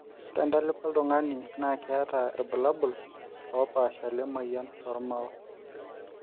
ore entalipa oltungani naa keeta irbulalabul oopasha le moyian oo rmao